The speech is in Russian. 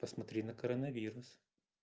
посмотри на коронавирус